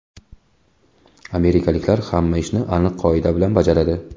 Amerikaliklar hamma ishni aniq qoida bilan bajaradi.